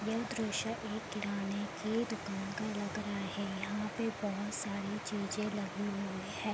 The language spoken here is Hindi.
यह दृश्य एक किराने की दुकान की लग रहा है | यहाँ पे बहुत सारी चीजे लगाई हुई है |